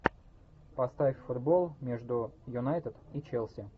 поставь футбол между юнайтед и челси